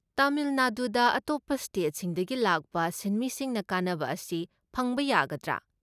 ꯇꯥꯃꯤꯜ ꯅꯥꯗꯨꯗ ꯑꯇꯣꯞꯄ ꯁ꯭ꯇꯦꯠꯁꯤꯡꯗꯒꯤ ꯂꯥꯛꯄ ꯁꯤꯟꯃꯤꯁꯤꯡꯅ ꯀꯥꯟꯅꯕ ꯑꯁꯤ ꯐꯪꯕ ꯌꯥꯒꯗ꯭ꯔꯥ?